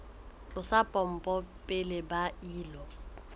tlosa pompo pele ba ilo